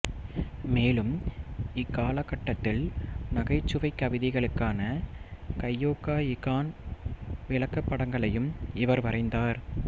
மேலும் இக்கால கட்டத்தில் நகைச்ச்வைக் கவிதைகளுக்கான கையோகா இகான் விளக்கப்படங்களையும் இவர் வரைந்தார்